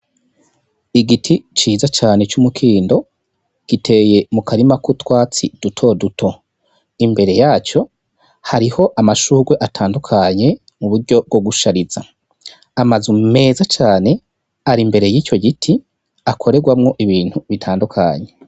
Igiti ciza cane c'umukindo giteye mu karima kutwatsi duto duto imbere yaco hariho amashurwe atandukanye mu buryo bwo gushariza amaze um meza cane ari imbere y'ityo giti akorerwamwo ibintu bitandukanye.